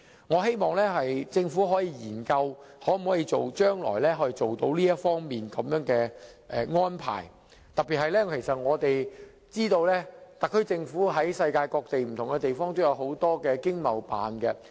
我希望政府可以研究將來作出這方面的安排，特別是我們知道特區政府在世界各地設有經濟貿易辦事處。